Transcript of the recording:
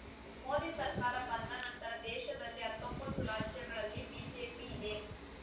ಮೋದಿ ಸರ್ಕಾರ ಬಂದ ನಂತರ ದೇಶದಲ್ಲಿ ಹತ್ತೊಂಬತ್ತು ರಾಜ್ಯಗಳಲ್ಲಿ ಬಿಜೆಪಿಯಿದೆ